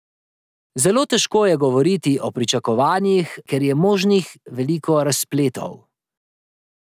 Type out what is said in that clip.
Zelo težko je govoriti o pričakovanjih, ker je možnih veliko razpletov.